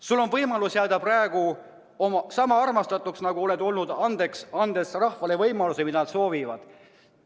" Sul on võimalus jääda sama armastatuks, nagu oled olnud, andes rahvale võimaluse, mida nad soovivad.